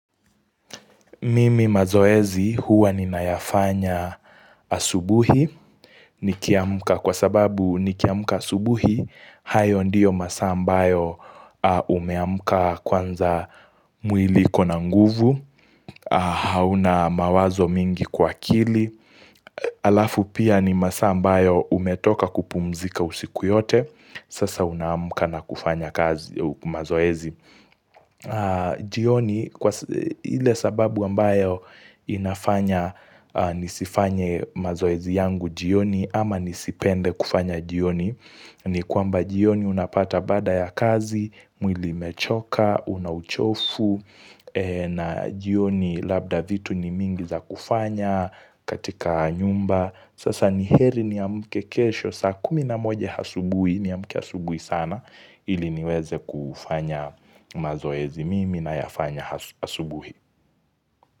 Mimi mazoezi huwa ninayafanya asubuhi, nikiamuka kwa sababu nikiamuka asubuhi, hayo ndiyo masaa ambayo umeamuka kwanza mwili iko na nguvu, hauna mawazo mingi kwa kili. Alafu pia ni masaa ambayo umetoka kupumzika usiku yote, sasa unaamuka na kufanya kazi mazoezi. Jioni kwa hile sababu ambayo inafanya nisifanye mazoezi yangu jioni ama nisipende kufanya jioni ni kwamba jioni unapata baada ya kazi, mwili umechoka, una uchofu na jioni labda vitu ni mingi za kufanya katika nyumba Sasa ni heri niamke kesho, saa kumi na moja hasubui, niamke asubui sana, ili niweze kufanya mazoezi mimi nayafanya asubuhi.